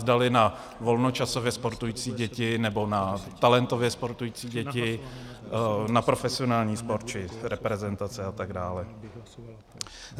Zdali na volnočasově sportující děti, nebo na talentově sportující děti, na profesionální sport či reprezentace a tak dále.